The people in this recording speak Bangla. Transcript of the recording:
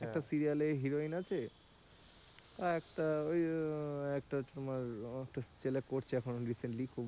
একটা সিরিয়ালে heroine আছে আরেকটা ওই একটা হচ্ছে কি যে তোমার ছেলে করছে এখন,